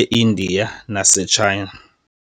e-India nase-China.